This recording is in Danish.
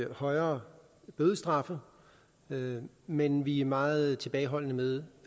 højere bødestraffe men men vi er meget tilbageholdende med